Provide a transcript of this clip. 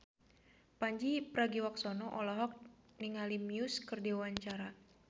Pandji Pragiwaksono olohok ningali Muse keur diwawancara